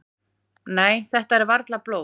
"""Nei, þetta er varla blóð."""